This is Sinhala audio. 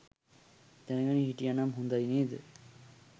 දැනගෙන හිටියනම් හොඳයි නේද